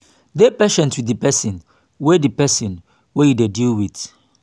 dey patient with di person wey di person wey you dey deal with